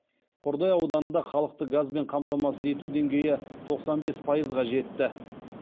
қордай ауданында халықты газбен қамтамасыз ету деңгейі тоқсан бес пайызға жетті